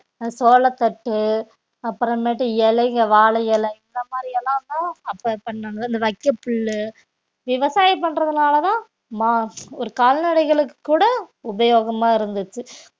அஹ் சோளத்தட்டு அப்புறமேட்டு இலைக வாழை இலை இந்த மாதிரி எல்லாமே அப்ப இந்த வைக்கப்புல்லு விவசாயம் பண்றதுனாலதான் மா~ ஒரு கால்நடைகளுக்குக் கூட உபயோகமா இருந்துச்சு